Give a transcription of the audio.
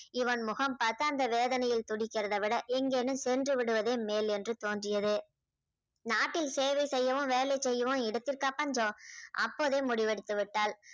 இவன் முகம் பார்த்து அந்த வேதனையில் துடிக்கிறதை விட எங்கேனும் சென்று விடுவதே மேல் என்று தோன்றியது. நாட்டில் சேவை செய்யவும் வேலை செய்யவும் இடத்திற்கா பஞ்சம் அப்போதே முடிவெடுத்துவிட்டாள்